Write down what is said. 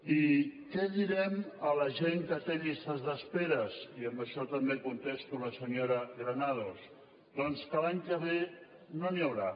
i què direm a la gent que té llistes d’espera i amb això també contesto a la senyora granados doncs que l’any que ve no n’hi haurà